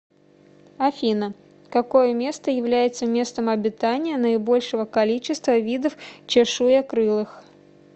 афина какое место является местом обитания наибольшего количества видов чешуекрылых